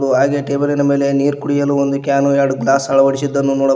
ಹಾಗೆ ಟೇಬಲಿನ ಮೇಲೆ ನೀರು ಕುಡಿಯಲು ಒಂದು ಕ್ಯಾನ್ ಎರಡು ಗ್ಲಾಸ್ ಅಳವಡಿಸಿದ್ದನ್ನು ನೋಡಬಹು--